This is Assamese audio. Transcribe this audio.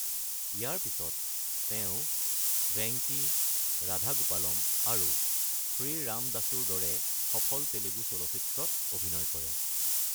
ইয়াৰ পিছত, তেওঁ ভেঙ্কি, ৰাধা গোপালম আৰু শ্ৰী ৰামদাসুৰ দৰে সফল তেলেগু চলচ্চিত্ৰত অভিনয় কৰে।